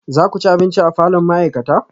Za ku ci abinci a falon ma'aikata?